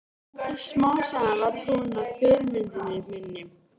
Smám saman varð hún að fyrirmyndinni minni.